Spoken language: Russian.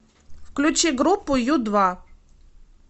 включи группу ю два